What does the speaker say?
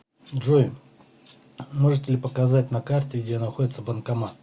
джой можете ли показать на карте где находится банкомат